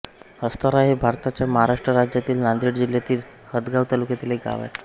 हस्तारा हे भारताच्या महाराष्ट्र राज्यातील नांदेड जिल्ह्यातील हदगाव तालुक्यातील एक गाव आहे